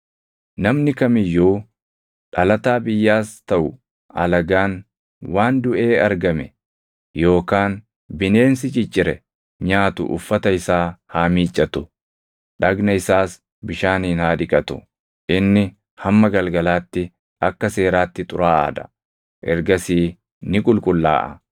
“ ‘Namni kam iyyuu dhalataa biyyaas taʼu alagaan waan duʼee argame yookaan bineensi ciccire nyaatu uffata isaa haa miiccatu; dhagna isaas bishaaniin haa dhiqatu; inni hamma galgalaatti akka seeraatti xuraaʼaa dha; ergasii ni qulqullaaʼa.